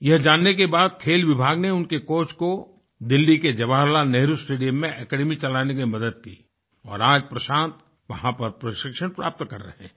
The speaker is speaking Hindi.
यह जानने के बाद खेल विभाग ने उनके कोच को दिल्ली के जवाहर लाल नेहरु स्टेडियम में एकेडमी चलाने में मदद की और आज प्रशांत वहाँ पर प्रशिक्षण प्राप्त कर रहे हैं